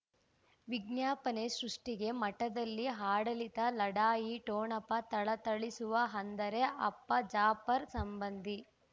ವಿಜ್ಞಾಪನೆ ಸೃಷ್ಟಿಗೆ ಮಠದಲ್ಲಿ ಆಡಳಿತ ಲಢಾಯಿ ಠೊಣಪ ಥಳಥಳಿಸುವ ಅಂದರೆ ಅಪ್ಪ ಜಾಫರ್ ಸಂಬಂಧಿ